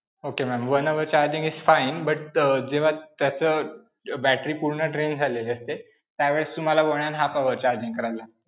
Okay ma'am. one hour charging is fine but अं जेव्हा त्याचं battery पूर्ण drain झालेली असते, त्यावेळेस तुम्हाला one and half hours charging करायला.